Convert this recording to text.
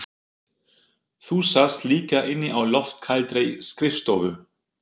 Þú sast líka inni á loftkældri skrifstofu